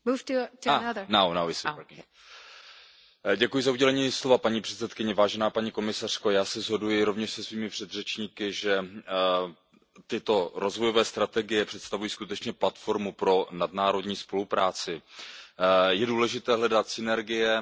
Paní předsedající, já se shoduji rovněž se svými předřečníky, že tyto rozvojové strategie představují skutečně platformu pro nadnárodní spolupráci. Je důležité hledat synergie, je důležité spolupracovat, koordinovat své aktivity.